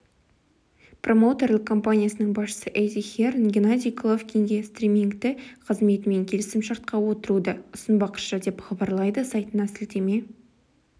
промоутерлік компаниясының басшысы эдди хирн геннадий головкинге стримингті қызметімен келісімшартқа отыруды ұсынбақшы деп хабарлайды сайтына сілтеме